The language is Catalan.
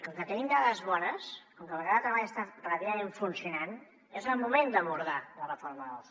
com que tenim dades bones com que el mercat de treball està relativament funcionant és el moment d’abordar la reforma del soc